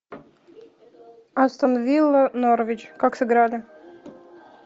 астон вилла норвич как сыграли